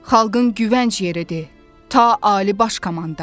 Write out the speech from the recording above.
Xalqın güvənc yeridi, ta Ali Baş Komandan.